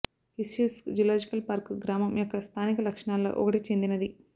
Izhevsk zoological park గ్రామం యొక్క స్థానిక లక్షణాల్లో ఒకటి చెందినది